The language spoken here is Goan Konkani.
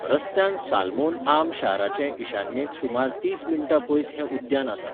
रस्त्यान सालमोन आर्म शाराचे ईशान्येक सुमार तीस मिण्टां पयस हें उद्यान आसा.